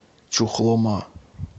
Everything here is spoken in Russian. чухлома